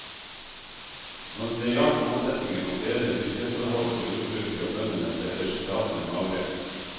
Når det gjaldt målsettingen om bedre bytteforhold for jordbruket og bøndene ble resultatene magre.